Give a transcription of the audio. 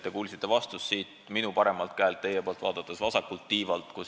Te kuulsite vastust siit minu paremalt käelt, teie poolt vaadates vasakult tiivalt.